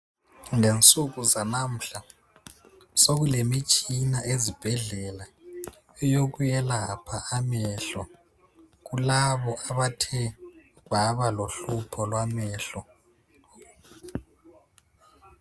Ngensuku zanamuhla sokulemitshina ezibhedlela yokuyelapha amehlo kulabo abathe baba lohlupho lwamehlo.